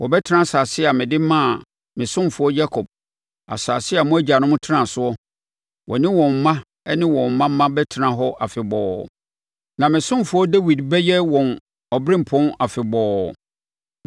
Wɔbɛtena asase a mede maa me ɔsomfoɔ Yakob, asase a mo agyanom tenaa soɔ. Wɔne wɔn mma ne wɔn mma mma bɛtena hɔ afebɔɔ, na me ɔsomfoɔ Dawid bɛyɛ wɔn ɔberempɔn afebɔɔ.